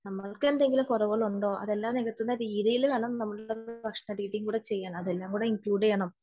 നമ്മൾക്ക് എന്തെങ്കിലും ഉറവുകളുണ്ടോ അതെല്ലാം നികത്തുന്ന രീതിയിൽ നമ്മുടെ ഭക്ഷണ രീതിയും കൂടി ചെയ്യണം അതെല്ലാം കൂടി ഇൻക്ലൂഡ് ചെയ്യണം